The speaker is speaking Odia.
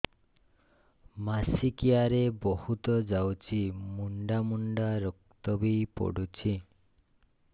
ମାସିକିଆ ରେ ବହୁତ ଯାଉଛି ମୁଣ୍ଡା ମୁଣ୍ଡା ରକ୍ତ ବି ପଡୁଛି